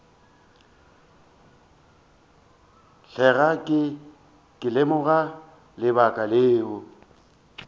tloga ke lemoga lebaka leo